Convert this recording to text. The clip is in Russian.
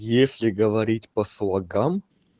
если говорить по слогам